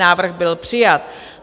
Návrh byl přijat.